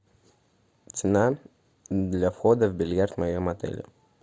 цена для входа в бильярд в моем отеле